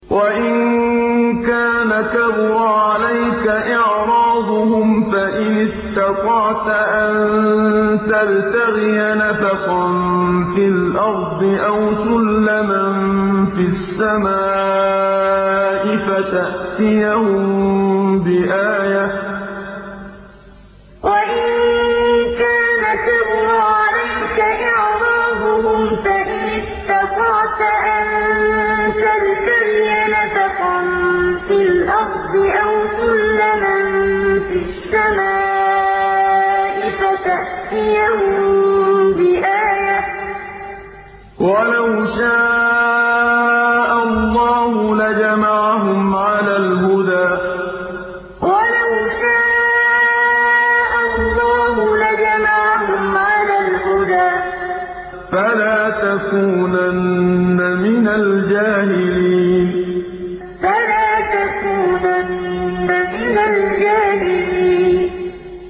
وَإِن كَانَ كَبُرَ عَلَيْكَ إِعْرَاضُهُمْ فَإِنِ اسْتَطَعْتَ أَن تَبْتَغِيَ نَفَقًا فِي الْأَرْضِ أَوْ سُلَّمًا فِي السَّمَاءِ فَتَأْتِيَهُم بِآيَةٍ ۚ وَلَوْ شَاءَ اللَّهُ لَجَمَعَهُمْ عَلَى الْهُدَىٰ ۚ فَلَا تَكُونَنَّ مِنَ الْجَاهِلِينَ وَإِن كَانَ كَبُرَ عَلَيْكَ إِعْرَاضُهُمْ فَإِنِ اسْتَطَعْتَ أَن تَبْتَغِيَ نَفَقًا فِي الْأَرْضِ أَوْ سُلَّمًا فِي السَّمَاءِ فَتَأْتِيَهُم بِآيَةٍ ۚ وَلَوْ شَاءَ اللَّهُ لَجَمَعَهُمْ عَلَى الْهُدَىٰ ۚ فَلَا تَكُونَنَّ مِنَ الْجَاهِلِينَ